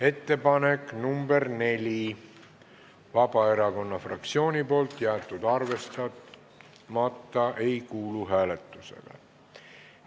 Ettepanek nr 4, esitanud Vabaerakonna fraktsioon, jäetud arvestamata ega kuulu hääletamisele.